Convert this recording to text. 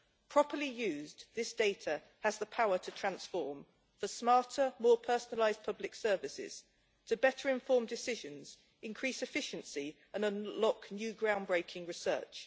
Properly used, this data has the power to transform the smarter, more personalised public services, to better inform decisions, increase efficiency and unlock new ground breaking research.